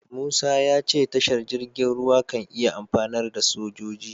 Musa ya ce tashar jirgin ruwa kan iya amfanar da sojoji.